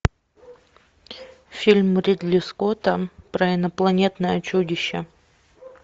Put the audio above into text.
фильм ридли скотта про инопланетное чудище